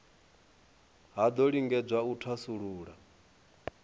ha do lingedzwa u thasulula